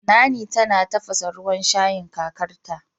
Nanny tana tafasa ruwan shayin kakarta